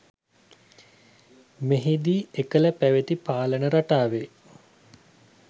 මෙහිදී එකල පැවති පාලන රටාවේ